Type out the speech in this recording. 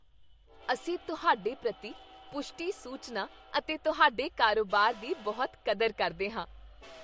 ਅਸੀਂ ਤੁਹਾਡੇ ਪ੍ਰਤੀ ਪੁਸ਼ਟੀ ਸੂਚਨਾ ਅਤੇ ਤੁਹਾਡੇ ਕਾਰੋਬਾਰ ਦੀ ਬਹੁਤ ਕਦਰ ਕਰਦੇ ਹਾਂ।